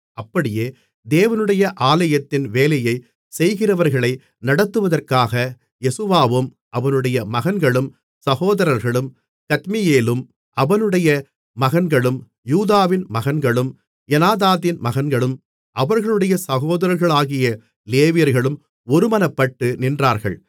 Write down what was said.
அப்படியே தேவனுடைய ஆலயத்தின் வேலையைச் செய்கிறவர்களை நடத்துவதற்காக யெசுவாவும் அவனுடைய மகன்களும் சகோதரர்களும் கத்மியேலும் அவனுடைய மகன்களும் யூதாவின் மகன்களும் எனாதாதின் மகன்களும் அவர்களுடைய சகோதரர்களாகிய லேவியர்களும் ஒருமனப்பட்டு நின்றார்கள்